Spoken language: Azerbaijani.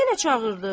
Yenə çağırdı.